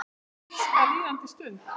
Elska líðandi stund.